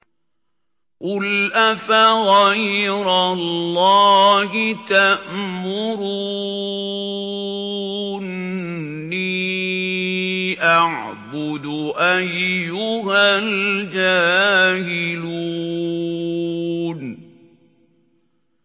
قُلْ أَفَغَيْرَ اللَّهِ تَأْمُرُونِّي أَعْبُدُ أَيُّهَا الْجَاهِلُونَ